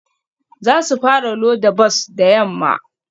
Za su fara loda bas da yamma